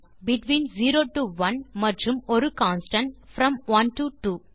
between 0 to 1 மற்றும் ஒரு constant from 1 to 2